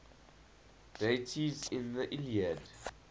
deities in the iliad